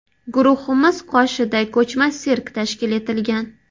Guruhimiz qoshida ko‘chma sirk tashkil etilgan.